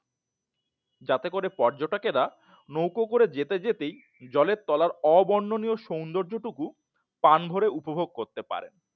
যাতে করে পর্যটকেরা নৌকো করে যেতে যেতেই জলের তলার অবর্ণনীয় সৌন্দর্য টুকু প্রাণভরে উপভোগ করতে পারেন